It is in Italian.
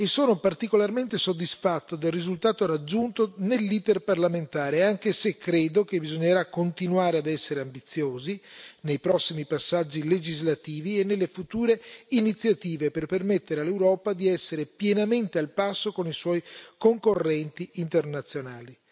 Sono particolarmente soddisfatto del risultato raggiunto nell'iter parlamentare, anche se credo che bisognerà continuare a essere ambiziosi nei prossimi passaggi legislativi e nelle future iniziative, per permettere all'Europa di essere pienamente al passo con i suoi concorrenti internazionali.